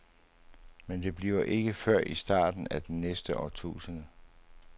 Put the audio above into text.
Men det bliver ikke før i starten af den næste årtusinde.